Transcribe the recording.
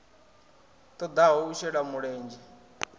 ṱo ḓaho u shela mulenzhe